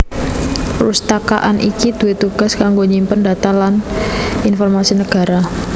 Perpustakaan iki duwé tugas kanggo nyimpen data data lan informasi nagara